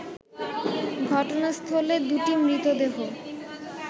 ঘটনাস্থলে দুটি মৃতদেহ